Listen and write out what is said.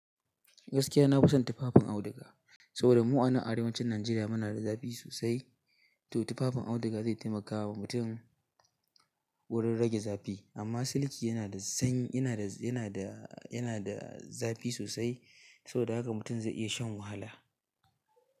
Gaskiya na fi son tufafin auduga, saboda mu a nan arewacin Najeriya muna da zafi sosai to tufafin auduga zai taimakawa mutum wurin rage zafi. Amma siliki yana da zafi sosai, saboda haka mutum zai iya shan wahala.